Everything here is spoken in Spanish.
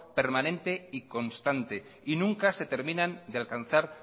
permanente y constante y nunca se terminan de alcanzar